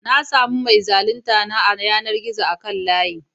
Na sami mai zaluntar na a yanar gizo akan layi.